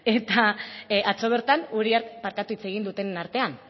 hitz egin dutenen artean